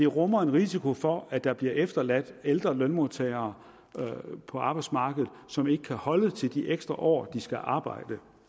rummer en risiko for at der bliver efterladt ældre lønmodtagere på arbejdsmarkedet som ikke kan holde til de ekstra år de skal arbejde